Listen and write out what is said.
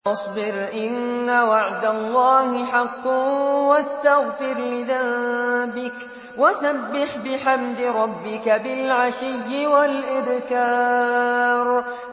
فَاصْبِرْ إِنَّ وَعْدَ اللَّهِ حَقٌّ وَاسْتَغْفِرْ لِذَنبِكَ وَسَبِّحْ بِحَمْدِ رَبِّكَ بِالْعَشِيِّ وَالْإِبْكَارِ